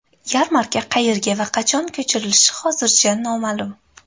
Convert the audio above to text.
Yarmarka qayerga va qachon ko‘chirilishi hozircha noma’lum.